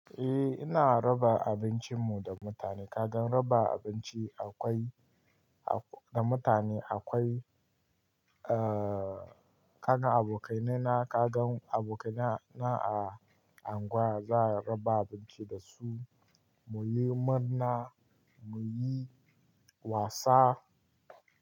Eh ina raba abincin mu da mutane. Kagan raba abinci akwai-- da mutane akwai, ah kaga abokaina na kaga abokaina na a unguwa za a raba abinci da su. Muyi murna, muyi wasa.